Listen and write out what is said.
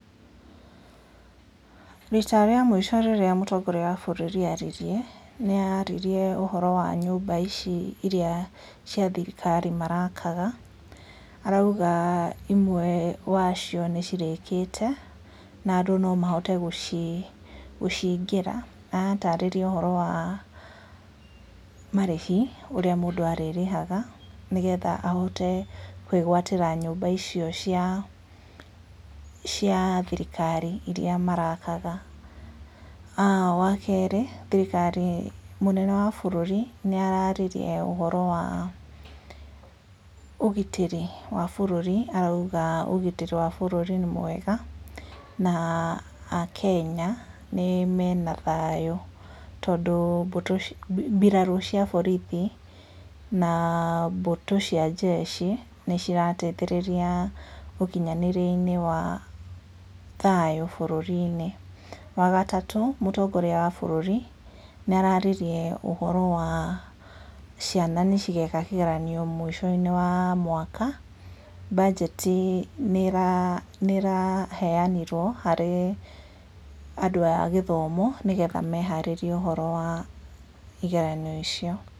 Rita rĩa mũico rĩrĩa mũtongoria wa bũrũri aririe nĩ aririe ũhoro wa nyũmba ici thirikari marakaga arauga imwe wa cio nĩ cirĩkĩte na andũ no mahote gũcingĩra na aratarĩrio ũhoro wa marĩhi ũrĩa mũndũ arĩrĩhaga nĩgetha ahote kwĩgwatĩra nyũmba icio cia thirikari iria marakaga, na wa kerĩ mũtongoria wa bũrũri nĩ araririe ũhoro wa ũgitĩri wa bũrũri arauga ũgitĩri wa bũrũri nĩ mwega na Akenya, mwena thayũ nĩ tondũ mbirarũ cia borithi na mbũtũ cia njeshi nĩ cirateithĩrĩria ũkinyanĩria-inĩ wa thayũ bũrũri-inĩ, wagatatũ mũtongoria wa bũrũri nĩ araririe ũhoro wa ciana nĩ cigeka kĩgeranio mũico-inĩ wa mwaka mbanjeti nĩraheanirwo harĩ andũ a gĩthomo nĩguo meharĩrie ũhoro wa igeranio icio.